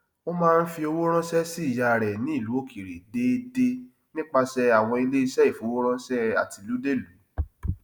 ó máa n fí owó ránṣẹ sí ìyá rẹ ní ìlu òkèèrè déédé nípasẹ àwọn iléeṣẹ ìfowóránṣẹ àtilúdélùú